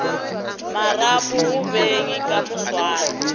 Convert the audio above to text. marapo go beng ka moswane